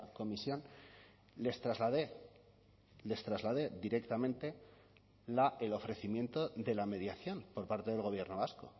comisión les trasladé les traslade directamente el ofrecimiento de la mediación por parte del gobierno vasco